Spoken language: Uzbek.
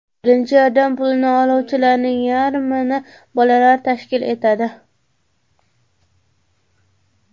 Birinchi yordam pulini oluvchilarning yarmini bolalar tashkil etadi.